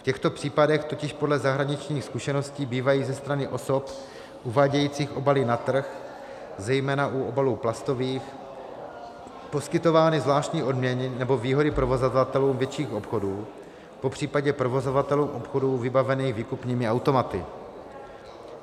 V těchto případech totiž podle zahraničních zkušeností bývají ze strany osob uvádějících obaly na trh, zejména u obalů plastových, poskytovány zvláštní odměny nebo výhody provozovatelům větších obchodů, popřípadě provozovatelům obchodů vybavených výkupními automaty.